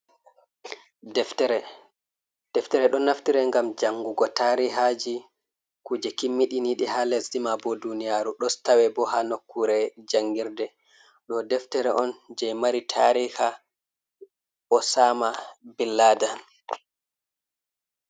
Deftere ɗon naftire ngam jangugo tarihaji kuje kimmiɗi naɗi ha lesdi ma bo duniyaru dostawe bo ha nokkure jangirde ɗo deftere on je mari tarihi Osama bin Ladan.